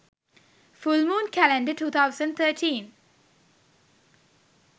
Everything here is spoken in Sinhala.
full moon calendar 2013